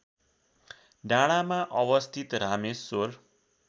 डाँडामा अवस्थित रामेश्वर